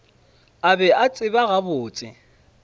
a be a tseba gabotse